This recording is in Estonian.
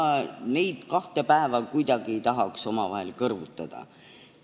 Ma ei tahaks neid kahte päeva kuidagi kõrvutada.